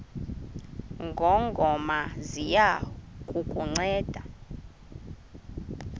ngongoma ziya kukunceda